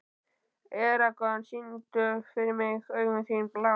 Eragon, syngdu fyrir mig „Augun þín blá“.